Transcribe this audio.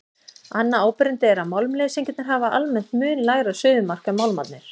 Annað áberandi er að málmleysingjarnir hafa almennt mun lægra suðumark en málmarnir.